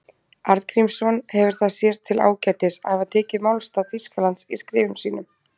Arngrímsson hefur það sér til ágætis að hafa tekið málstað Þýskalands í skrifum sínum.